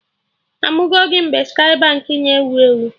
Amụgo gị mgbe Skye Baankị na ewu ewu?